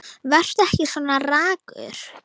Vertu ekki svona ragur.